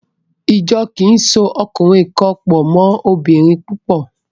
Ìjọ kì í so ọkùnrin kan pọ̀ mọ́ obìnrin púpọ̀.